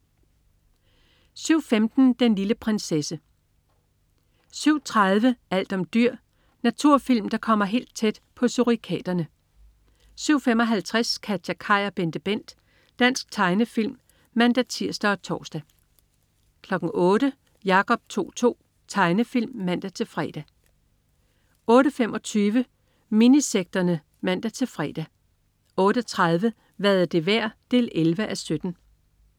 07.15 Den lille prinsesse (man-fre) 07.30 Alt om dyr. Naturfilm der kommer helt tæt på surikaterne 07.55 KatjaKaj og BenteBent. Dansk tegnefilm (man-tirs og tors) 08.00 Jacob To-To. Tegnefilm (man-fre) 08.25 Minisekterne (man-fre) 08.30 Hvad er det værd? 11:17